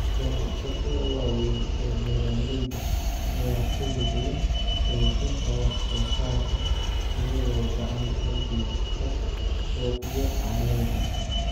Ganacsatada waaweyn ee beeralayda ayaa ku lug leh dhoofinta wax-soo-saarka, iyagoo gacan ka geysta suuqyo caalami ah.